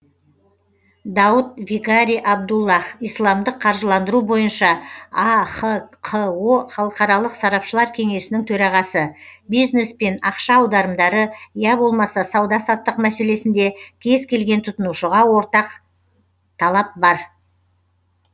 дауд викари абдуллах исламдық қаржыландыру бойынша ахқо халықаралық сарапшылар кеңесінің төрағасы бизнес пен ақша аударымдары я болмаса сауда саттық мәселесінде кез келген тұтынушыға ортақ талап бар